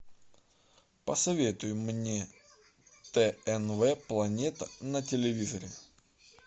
посоветуй мне тнв планета на телевизоре